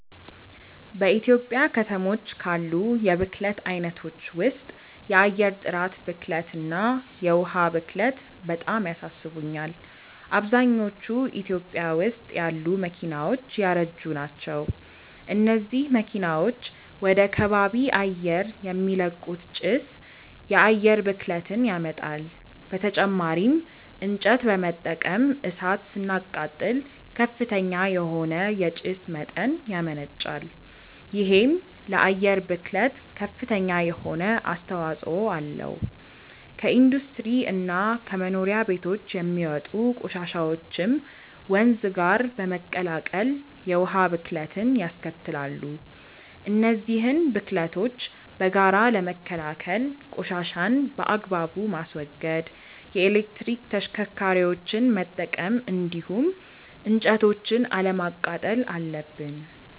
በኢትዮጵያ ከተሞች ካሉ የብክለት አይነቶች ውስጥ የአየር ጥራት ብክለት እና የዉሃ ብክለት በጣም ያሳስቡኛል። አብዛኞቹ ኢትዮጵያ ውስጥ ያሉ መኪናዎች ያረጁ ናቸው። እነዚህ መኪናዎች ወደ ከባቢ አየር የሚለቁት ጭስ የአየር ብክለትን ያመጣል። በተጨማሪም እንጨት በመጠቀም እሳት ስናቃጥል ከፍተኛ የሆነ የጭስ መጠን ያመነጫል። ይሄም ለአየር ብክለት ከፍተኛ የሆነ አስተዋጽኦ አለው። ከኢንዱስትሪ እና ከመኖሪያ ቤቶች የሚወጡ ቆሻሻዎችም ወንዝ ጋር በመቀላቀል የውሃ ብክለትንያስከትላሉ። እነዚህን ብክለቶች በጋራ ለመከላከል ቆሻሻን በአግባቡ ማስወገድ፣ የኤሌክትሪክ ተሽከርካሪዎችን መጠቀም እንዲሁም እንጨቶችን አለማቃጠል አለብን።